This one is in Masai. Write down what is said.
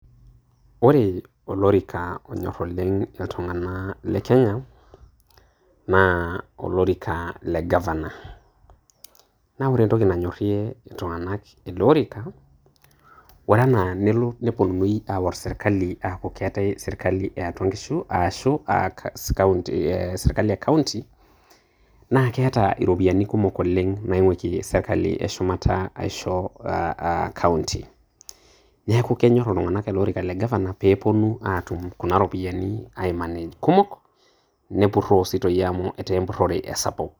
Ore olorika onyor oleng' iltung'ana iltung'aa le Kenya naa olorika le gavana. Naa ore entoki nanyorie iltung'anak ele orika, ore anaa nepuonuni aaor serkali aaku keetai serkali e aatua inkishu aashu serkali e kaunti, naa keeta iropiani kumok oleng' naing'wakie serkali e shumata aisho kaunti. Neaku kenyor iltung'anak ele orika le gavana pee epuoni aatum kuna rupiani aimanej kumok, nepuroo sii toi amu ketaa empurore esapuk.